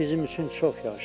Bizim üçün çox yaxşıdır.